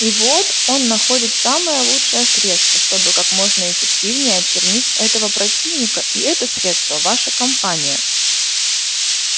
и вот он находит самое лучшее средство чтобы как можно эффективнее очернить этого противника и это средство ваша кампания